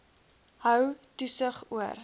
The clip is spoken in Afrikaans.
hou toesig oor